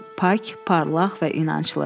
Pak, parlaq və incə.